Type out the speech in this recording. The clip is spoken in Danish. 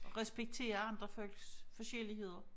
Respektere andre folks forskelligheder